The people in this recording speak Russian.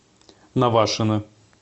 навашино